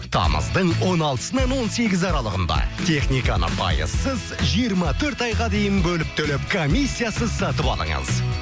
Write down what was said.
тамыздың он алтысынан он сегізі аралығында техниканы пайызсыз жиырма төрт айға дейін бөліп төлеп комиссиясыз сатып алыңыз